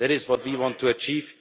That is what we want to achieve.